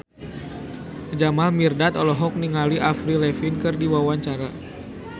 Jamal Mirdad olohok ningali Avril Lavigne keur diwawancara